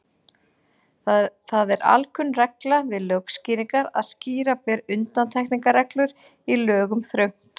Það er alkunn regla við lögskýringar að skýra ber undantekningarreglur í lögum þröngt.